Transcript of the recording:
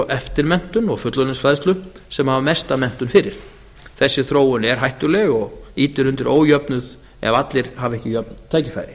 eftirmenntun og fullorðinsfræðslu sem hafa mesta menntun fyrir þessi þróun er hættuleg og ýtir undir ójöfnuð ef allir hafa ekki jöfn tækifæri